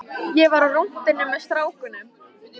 Ég var á rúntinum með strákunum.